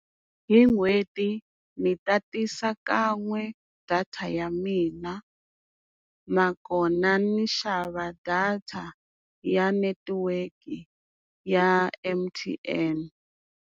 Hi n'hweti ni tatisa kan'we data ya mina nakona ni xava data ya netiweke ya M_T_N.